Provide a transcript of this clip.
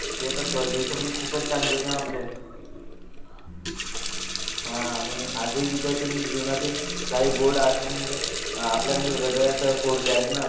ते तर म्हणजे खूपच चांगले होते ना आपले हा आणि आज ही विद्यार्थी जीवनातील काही काही गोड आठवणी म्हणजे अह आपल्या हृदयात कोरल्या आहेत ना